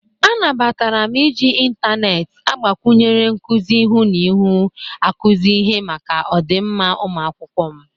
Anabatara m iji intaneet agbakwụnyere nkụzị ịhụ na ịhụ akụzi ihe maka ọdịmma ụmụakwụkwọ m.